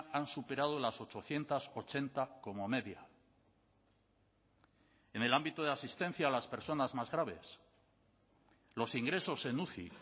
han superado las ochocientos ochenta como media en el ámbito de asistencia a las personas más graves los ingresos en uci